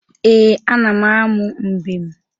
Ee, ana m amụ mbem.